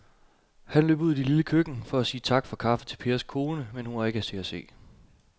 Han løb ud i det lille køkken for at sige tak for kaffe til Pers kone, men hun var ikke til at se.